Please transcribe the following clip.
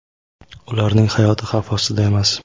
ularning hayoti xavf ostida emas.